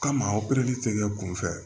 Kama opereli tɛ kɛ kunfɛ